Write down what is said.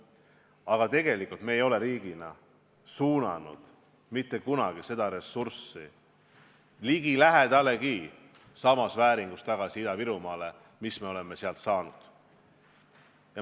Aga tegelikult ei ole me riigina suunanud seda ressurssi, mis me oleme Ida-Virumaalt saanud, mitte kunagi ligilähedaseltki samas vääringus sinna tagasi.